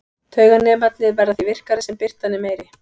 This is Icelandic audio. Tauganemarnir verða því virkari sem birtan er meiri.